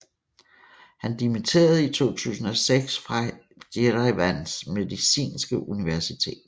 Han dimitterede i 2006 fra Jerevans medicinske universitet